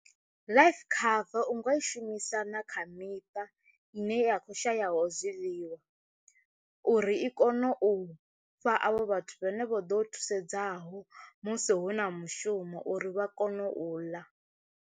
Life cover u nga i shumisana kha miṱa ine ya kho shayaho zwiḽiwa uri i kone u fha avho vhathu vhane vho ḓo thusedzaho musi hu na mushumo uri vha kone u ḽa.